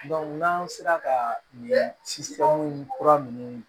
n'an sera ka ɲɛ si kura ninnu